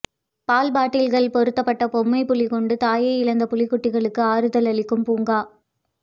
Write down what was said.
பால் பாட்டில்கள் பொருத்தப்பட்ட பொம்பை புலி கொண்டு தாயை இழந்த புலிக்குட்டிகளுக்கு ஆறுதல் அளிக்கும் பூங்கா